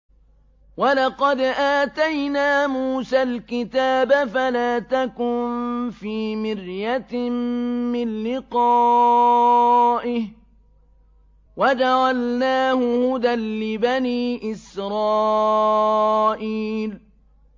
وَلَقَدْ آتَيْنَا مُوسَى الْكِتَابَ فَلَا تَكُن فِي مِرْيَةٍ مِّن لِّقَائِهِ ۖ وَجَعَلْنَاهُ هُدًى لِّبَنِي إِسْرَائِيلَ